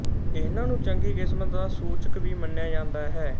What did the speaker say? ਇਹਨਾਂ ਨੂੰ ਚੰਗੀ ਕਿਸਮਤ ਦਾ ਸੂਚਕ ਵੀ ਮੰਨਿਆ ਜਾਂਦਾ ਹੈ